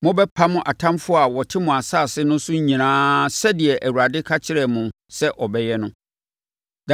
Mobɛpam atamfoɔ a wɔte mo asase no so nyinaa sɛdeɛ Awurade ka kyerɛɛ mo sɛ ɔbɛyɛ no.